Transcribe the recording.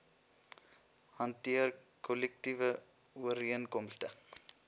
hanteer kollektiewe ooreenkomste